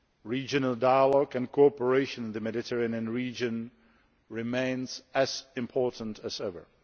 Regional dialogue and cooperation in the Mediterranean region remains as important as ever.